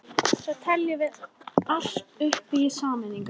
Svo teljum við allt hitt upp í sameiningu.